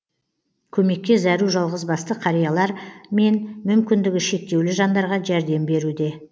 көмекке зәру жалғызбасты қариялар мен мүмкіндігі шектеулі жандарға жәрдем беруде